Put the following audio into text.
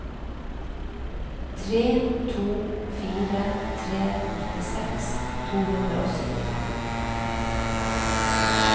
tre to fire tre nittiseks to hundre og syttifem